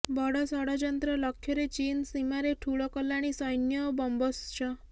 ବଡ ଷଡଯନ୍ତ୍ର ଲକ୍ଷ୍ୟରେ ଚୀନ ସୀମାରେ ଠୁଳ କଲାଣି ସୈନ୍ୟ ଓ ବମ୍ବର୍ସ